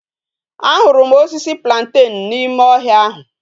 A huru m osisi plantain na ime ohia ahu